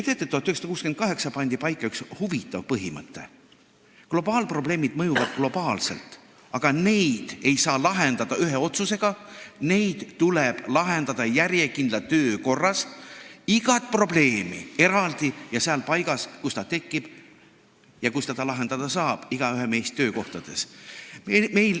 Teate, 1968. aastal pandi paika üks huvitav põhimõte: globaalprobleemid mõjuvad globaalselt, aga neid ei saa lahendada ühe otsusega, neid tuleb lahendada järjekindla töö korras, iga probleemi eraldi ja seal paigas, kus see probleem on tekkinud ja kus teda lahendada saab, meie igaühe töökohal.